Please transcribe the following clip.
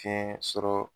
Fiɲɛ sɔrɔ